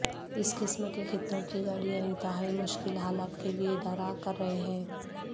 اس قسم کے خطوں کی گاڑیاں انتہائی مشکل حالات کے لئے ارادہ کر رہے ہیں